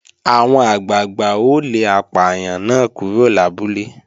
Àwọn àgbàgbà ó lé apàyàn náà kúrò lábúlé